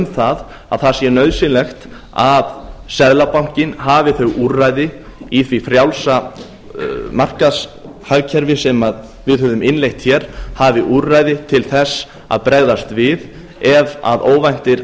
það að það sé nauðsynlegt að seðlabankinn hafi þau úrræði í því frjálsa markaðshagkerfi sem við höfum innleitt hér hafi úrræði til þess að bregðast við ef að óvæntir